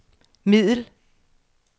middel